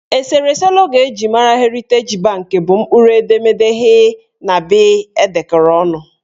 Eserese logo eji mara Heriteji banki bụ mkpụrụ edemede H na B edekọrọ ọnụ